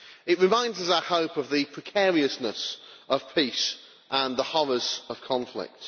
It reminds us, I hope, of the precariousness of peace and the horrors of conflict.